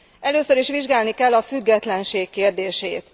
Először is vizsgálni kell a függetlenség kérdését.